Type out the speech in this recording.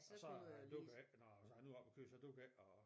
Og så duer det ikke når når jeg nu er oppe og køre så duer det ikke at